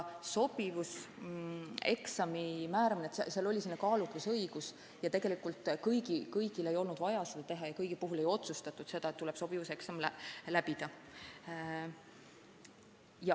Sobivuseksami määramisel on kehtinud kaalutlusõigus ja tegelikult ei ole kõigil olnud vaja seda teha – kõigi puhul ei ole otsustatud, et tuleb sobivuseksam läbida.